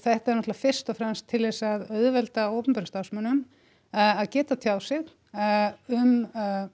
þetta er náttúrulega fyrst og fremst til þess að auðvelda opinberum starfsmönnum að geta tjáð sig um